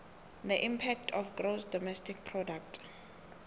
the impact of gross domestic product